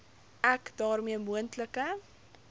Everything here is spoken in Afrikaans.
ek daarmee moontlike